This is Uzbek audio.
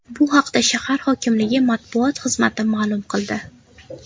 Bu haqda shahar hokimligi matbuot xizmati maʼlum qildi .